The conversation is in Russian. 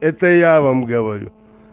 это я вам говорю